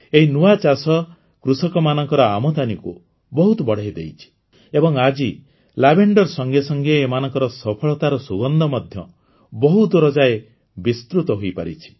ଏହି ନୂଆ ଚାଷ କୃଷକମାନଙ୍କର ଆମଦାନୀକୁ ବହୁତ ବଢ଼େଇଦେଇଛି ଏବଂ ଆଜି ଲାଭେଣ୍ଡର ସଙ୍ଗେ ସଙ୍ଗେ ଏମାନଙ୍କ ସଫଳତାର ସୁଗନ୍ଧ ମଧ୍ୟ ବହୁଦୂର ଯାଏ ବିସ୍ତୃତ ହୋଇପାରିଛି